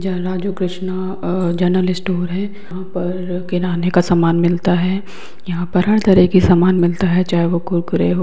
यह Raju Krishna uh general store है। यहाँ पर किराने का सामान मिलता है। यहाँ पर हर तरह का सामान मिलता है चाहे वह कुरकुरे हो --